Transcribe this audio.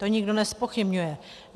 To nikdo nezpochybňuje.